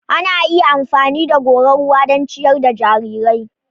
Ana iya amfani da goran ruwa don ciyar da jarirai.